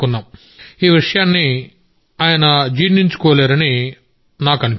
ఈ విషయాన్ని ఆయన జీర్ణించుకోలేరని మాకనిపించింది